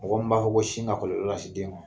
Mɔgɔ min b'a fɔ ko sin ka kɔlɔlɔ lase den ma.